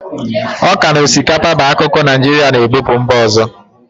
Ọka na osikapa bu akụkụ Naijirịa na-ebupu mba ọzọ.